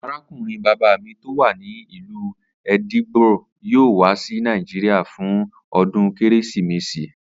Arákùnrin bàbá mi tó wà ní ìlú Edinburgh yóò wá sí Nàìjíríà fún o̩dún Kérésìmesì